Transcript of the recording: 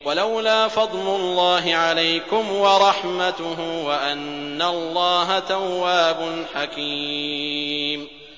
وَلَوْلَا فَضْلُ اللَّهِ عَلَيْكُمْ وَرَحْمَتُهُ وَأَنَّ اللَّهَ تَوَّابٌ حَكِيمٌ